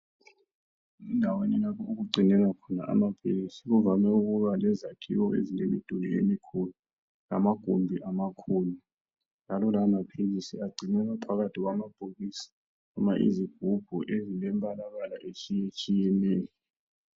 Endaweni lapho okugcinelwa khona amaphilisi kuvame ukuba lezakhiwo ezilemiduli emikhulu lamagumbi amakhulu ,njalo lawa maphilisi agcinwa phakathi kwamabhokisi lezigubhu ezilemibalabala etshiyetshiyeneyo.